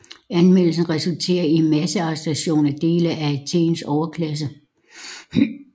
Anmeldelsen resulterede i en massearrestation af dele af Athens overklasse